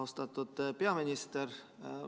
Austatud peaminister!